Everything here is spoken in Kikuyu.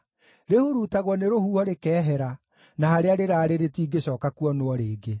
rĩhurutagwo nĩ rũhuho rĩkehera, na harĩa rĩraarĩ rĩtingĩcooka kuonwo rĩngĩ.